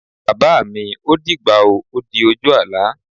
Bàbá mi, ó dìgbà o. Ó di ojú àlá.